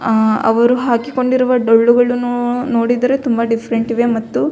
ಆ ಅವರು ಹಾಕಿಕೊಂಡಿರುವ ಡೊಳ್ಳುಗಳನ್ನು ನೋಡಿದರೆ ತುಂಬಾ ಡಿಫರೆಂಟ್ ಇವೆ ಮತ್ತು --